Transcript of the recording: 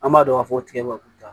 An b'a dɔn k'a fɔ tigɛba k'u ta